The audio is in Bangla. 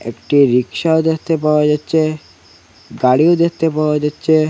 একটি রিক্সাও দেখতে পাওয়া যাচ্চে গাড়িও দেখতে পাওয়া যাচ্চে।